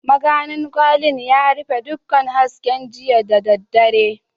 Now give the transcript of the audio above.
Maganin kwarin ya rufe dukkan hasken jiya da daddare.